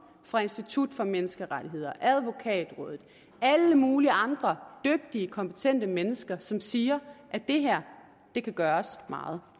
fra institut for menneskerettigheder advokatrådet og alle mulige andre dygtige kompetente mennesker som siger at det her kan gøres meget